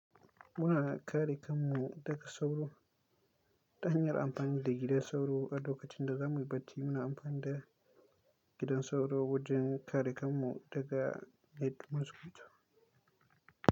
Muna kare kanmu daga sauro. Ta hanyar amfani da gidan sauro a lokacin da za mu yi bacci, muna amfani da gidan sauro wajen kare kanmu daga mosquitoe.